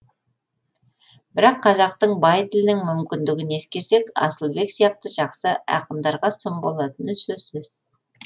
бірақ қазақтың бай тілінің мүмкіндігін ескерсек асылбек сияқты жақсы ақындарға сын болатыны сөзсіз